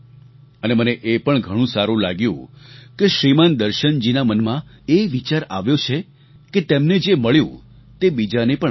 અને મને એ પણ ઘણું સારું લાગ્યું કે શ્રીમાન દર્શનજીના મનમાં એ વિચાર આવ્યો છે કે તેમને જે મળ્યું તે બીજાને પણ મળે